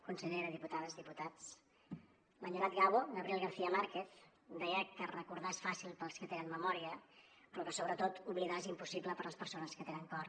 consellera diputades diputats l’enyorat gabo gabriel garcía márquez deia que recordar és fàcil per als que tenen memòria però que sobretot oblidar és impossible per a les persones que tenen cor